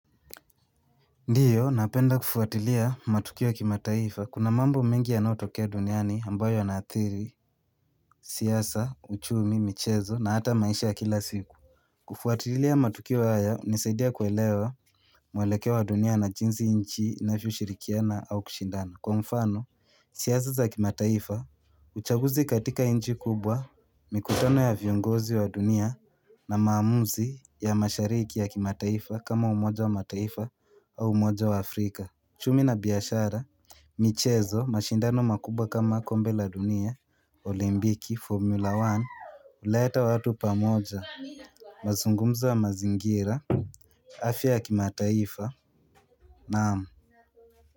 Ndiyo napenda kufuatilia matukio ya kimataifa kuna mambo mengi yanayotokea duniani ambayo yanaathiri siasa, uchumi, michezo na hata maisha ya kila siku kufuatilia matukio haya hunisaidia kuelewa mwelekeo wa dunia na jinsi nchi inavyoshirikiana au kushindana Kwa mfano, siasa za kimataifa, uchaguzi katika nchi kubwa, mikutano ya viongozi wa dunia na maamuzi ya mashariki ya kimataifa kama umoja wa mataifa au umoja wa Afrika uchumi na biashara, michezo, mashindano makubwa kama kombe la dunia, olimpiki, formula one huleta watu pamoja mazungumzo ya mazingira, afya ya kimataifa naam.